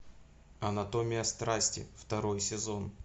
анатомия страсти второй сезон